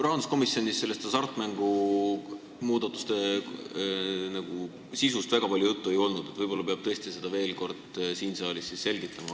Rahanduskomisjonis nende hasartmängumaksu muudatuste sisust väga palju juttu ei olnud, võib-olla peab seda tõesti veel kord siin saalis selgitama.